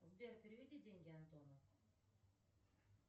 сбер переведи деньги антону